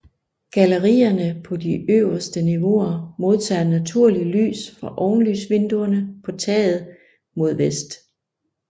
Gallerierne på de øverste niveauer modtager naturligt lys fra ovenlysvinduerne på taget mod vest